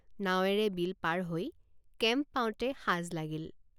নাৱেৰে বিল পাৰ হৈ কেম্প পাওঁতে সাঁজ লাগিল।